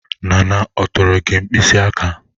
Nana atụtụrụ gị mkpịsị aka?